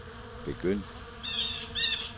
begynd